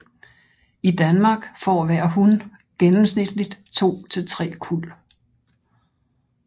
I Danmark får hver hun gennemsnitligt to til tre kuld